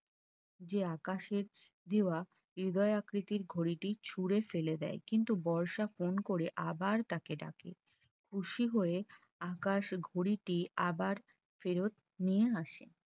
যে আকাশে দেওয়া হৃদয় আকৃতি ঘড়িটি ছুঁড়ে ফেলে দেয় কিন্তু বর্ষা phone করে আবার তাকে ডাকে খুশি হয়ে আকাশ ঘড়িটি আবার ফেরত নিয়ে আসে